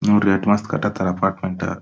ನೋಡ್ರಿ ಮಸ್ತ್ ಕಟ್ಟತಾರ ಅಪಾರ್ಟ್ಮೆಂಟ್ .